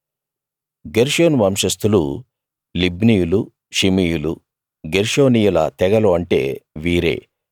గెర్షోను వంశస్తులు లిబ్నీయులు షిమీయులు గెర్షోనీయుల తెగలు అంటే వీరే